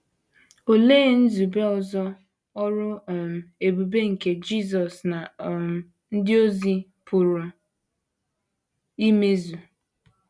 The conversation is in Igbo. Olee nzube ọzọ ọrụ um ebube nke Jisọs na um ndị ozi pụrụ imezu?